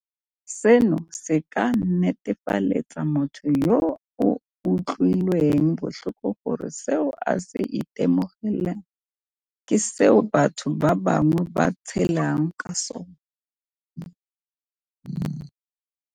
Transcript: Seno se ka netefaletsa motho yo o utlwilweng botlhoko gore seo a se itemogelang ke seo batho ba bangwe ba tshelang le sona.